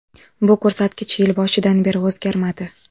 Bu ko‘rsatkich yil boshidan beri o‘zgarmadi.